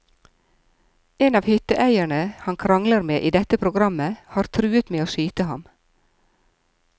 En av hytteeierne han krangler med i dette programmet har truet med å skyte ham.